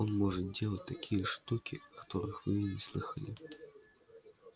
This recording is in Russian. он может делать такие штуки о которых вы и не слыхала